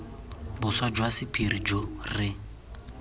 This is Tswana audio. boswa jwa sephiri jo re